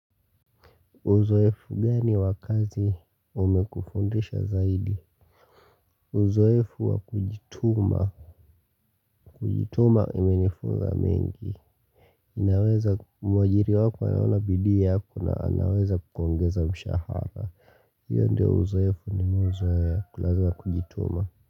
Uzoefu gani wa kazi umekufundisha zaidi? Uzoefu wa kujituma. Kujituma imenifunza mengi. Inaweza mwajiri wako anaona bidii yako na anaweza kukuongeza mshahara. Hiyo ndio uzoefu nimeuzoea kulaza wa kujituma.